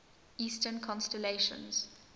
eastern constellations